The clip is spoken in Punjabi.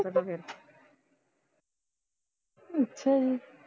ਅੱਛਾ ਜੀ